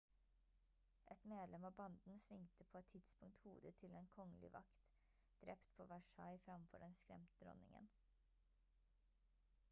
et medlem av banden svingte på et tidspunkt hodet til en kongelig vakt drept på versailles fremfor den skremte dronningen